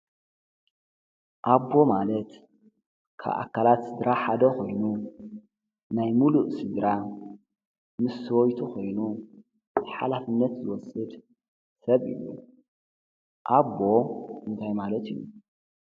ኣቦ ማለት ካብ ኣካላት ስድራ ሓደ ኾይኑ ናይ ሙሉእ ስድራ ምስ ሰበይቱ ኾይኑ ሓላፍነት ዝወስድ ሰብ እዩ፡፡ ኣቦ እንታይ ማለት እዩ?